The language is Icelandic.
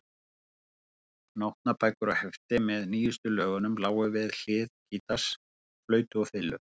Nótnabækur og hefti með nýjustu lögunum lágu við hlið gítars, flautu og fiðlu.